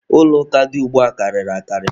Ụlọ ụka dị ugbua karịrị akarị.